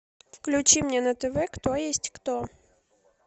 включи мне на тв кто есть кто